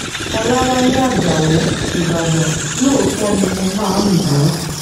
ọ̀làwálẹ̀ ajáò ìbàdàn lóòótọ́ ni mo máa ń lù ú